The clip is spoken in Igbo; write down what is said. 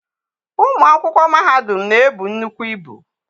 Ụmụ akwụkwọ mahadum na-ebu nnukwu ibu.